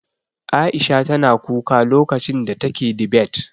Aisha tana kuka lokacin da take dibet.